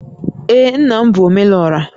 Ee, nna m bụ Omelora